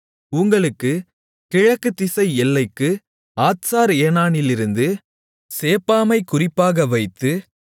உங்களுக்குக் கிழக்குத்திசை எல்லைக்கு ஆத்சார் ஏனானிலிருந்து சேப்பாமைக் குறிப்பாக வைத்து